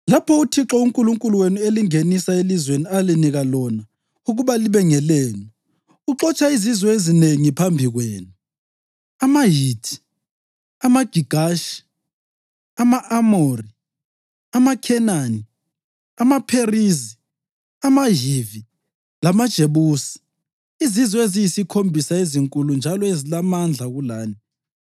“Lapho uThixo uNkulunkulu wenu elingenisa elizweni alinika lona ukuba libe ngelenu uxotsha izizwe ezinengi phambi kwenu, amaHithi, amaGigashi, ama-Amori, amaKhenani, amaPherizi, amaHivi lamaJebusi, izizwe eziyisikhombisa ezinkulu njalo ezilamandla kulani,